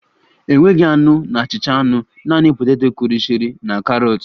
Enweghị anụ na achịcha anụ, naanị poteto kụrisịrị na karọt